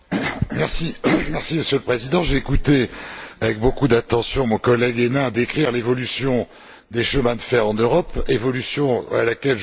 Monsieur le Président, j'ai écouté avec beaucoup d'attention mon collègue Hénin décrire l'évolution des chemins de fer en Europe évolution à laquelle je souscris tout à fait.